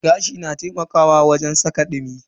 Gashi na taimakawa wajen saka kai dumi.